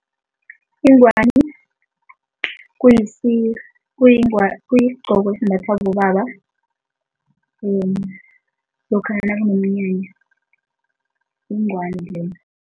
Ingwani kuyisigqoko esimbathwa bobaba lokha nakunomnyanya, yingwani leyo.